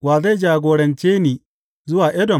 Wa zai jagorance ni zuwa Edom?